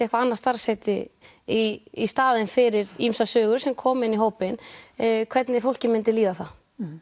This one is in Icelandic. eitthvað annað starfsheiti í staðinn fyrir ýmsar sögur sem koma inn í hópinn hvernig fólki mynda líða þá